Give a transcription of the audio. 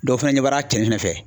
Dɔw fɛnɛ ɲɛ bɔra cɛnin fɛnɛ fɛ.